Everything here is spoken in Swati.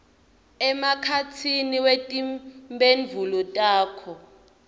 emkhatsini wetimphendvulo takho